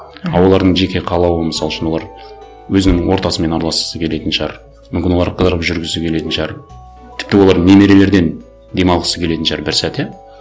а олардың жеке қалауы мысал үшін олар өзінің ортасымен араласқысы келетін шығар мүмкін олар қыдырып жүргісі келетін шығар тіпті олар немерелерден демалғысы келетін шығар бір сәт иә